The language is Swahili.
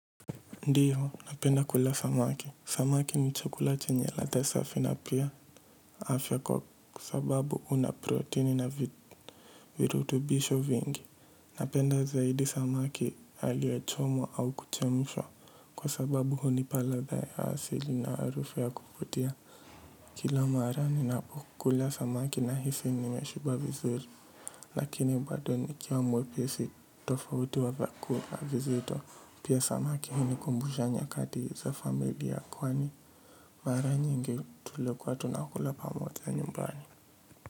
Ndiyo napenda kula samaki samaki ni chakula chenye ladha safi na pia afya kwa sababu una proteini na virutubisho vingi napenda zaidi samaki aliyechomwa au kuchemshwa kwa sababu hunipa ladha ya asili na harufu ya kuvutia kila mara ninapokula samaki nahisi nimeshiba vizuri. Lakini bado nikiwa mwepesi tofauti wa vyakula vizito. Pia samaki hunikumbusha nyakati za familia kwani mara nyingi tulikuwa tunakula pamoja nyumbani.